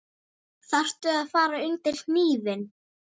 Þarftu að fara undir hnífinn?